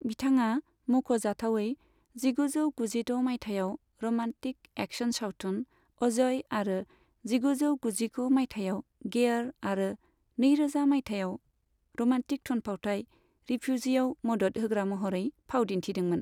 बिथाङा मख'जाथावै जिगुजौ गुजिद' माइथायाव र'मान्टिक एक्सन सावथुन 'अजय' आरो जिगुजौ गुजिगु माइथायाव 'गेयर' आरो नैरोजा माइथायाव र'मान्टिक थुनफावथाय 'रिफ्युजी'आव मदद होग्रा महरै फाव दिन्थिदोंमोन।